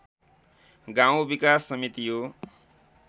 गाउँ विकास समिति हो।